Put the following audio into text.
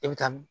I bɛ taa min